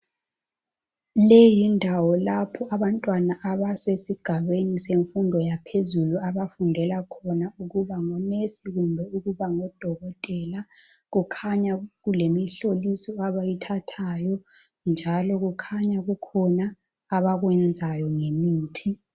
Le yindawo lapha abantwana abasesigabeni semfundo yaphezulu abafundela khona ukuba ngonesi kumbe ukuba ngodokotela. Kukhanya kulemihloliso abayithathayo njalo kukhanya kukhona abakwenzayo ngemithi.